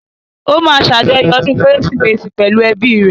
Ó máa ṣàjọyọ̀ ọdún kérésìmesì pẹ̀lú ẹ́bi rẹ̀